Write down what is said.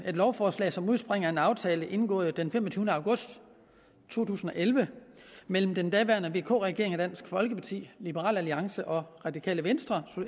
lovforslag som udspringer af en aftale indgået den femogtyvende august to tusind og elleve mellem den daværende vk regering og dansk folkeparti liberal alliance radikale venstre